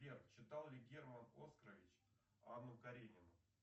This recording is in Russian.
сбер читал ли герман оскарович анну каренину